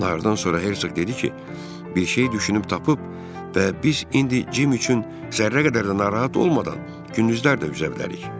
Nardan sonra Hersoq dedi ki, bir şeyi düşünüb tapıb və biz indi Cim üçün zərrə qədər də narahat olmadan gündüzlər də üzə bilərik.